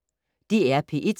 DR P1